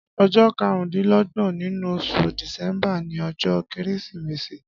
Ọjọ kàrùndilọgbọ̀n ninú óṣú disẹmbà ni ọjọ kérésimési